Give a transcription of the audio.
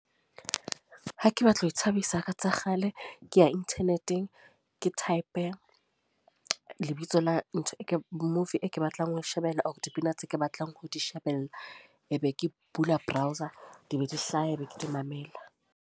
Ha ke batla ho ithabisa ka tsa kgale. Ke ya internet-eng, ke type lebitso la ntho e ke movie e ke batlang ho shebella or dipina tse ke batlang ho di shebella. E be ke bula browser, di be di hlaha be ke di mamela.